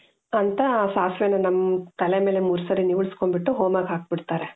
ಅಂತ ಸಾಸಿವೆನ ನಮ್ ತಲೆ ಮೇಲೆ ಮೂರು ಸಲ ನೀವಾಳಿಸಿಕೊಂಡ್ ಬಿಟ್ಟು ಹೋಮಕ್ಕೆ ಹಾಕ್ಬಿಡ್ತಾರೆ .